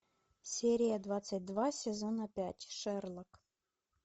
серия двадцать два сезона пять шерлок